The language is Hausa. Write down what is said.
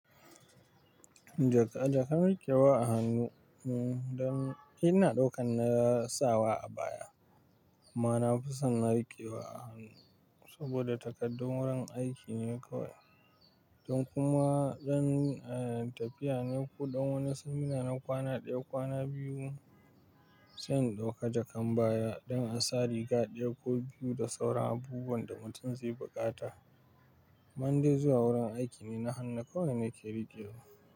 Jakan riƙewa a hannu, ina ɗaukan na sawa a baya amma na fi son na riƙewa a hannu saboda takaddun wurin aiki ne kawai. Idan kuma don tafiya ne ko don wani samina na kwana ɗaya, kwana biyu, zan ɗauka jakan baya don in sa riga ɗaya ko biyu da sauran abubuwan da mutum zai buƙata. Amma indai zuwa wurin aiki ne, na hannu kawai nake riƙewa.